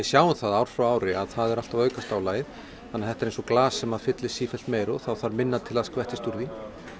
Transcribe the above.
sjáum það ár frá ári að það er alltaf að aukast álagið þannig að þetta er eins og glas sem fyllist sífellt meira og það þarf minna til að skvettist úr því